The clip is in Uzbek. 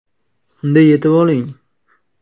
Unda yetib oling!”.